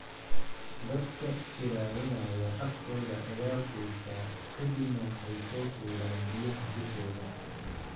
Dadka iilanayaa afkooda ayaa quusa ka dibna waxay soo fuulaan biyaha dushooda.